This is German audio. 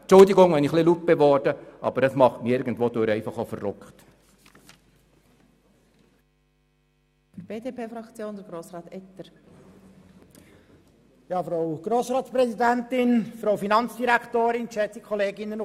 Entschuldigen Sie, wenn ich etwas laut geworden bin, aber das macht mich irgendwo auch wütend.